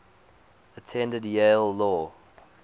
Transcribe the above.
attended yale law